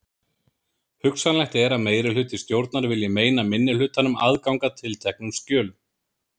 Hugsanlegt er að meirihluti stjórnar vilji meina minnihlutanum aðgang að tilteknum skjölum.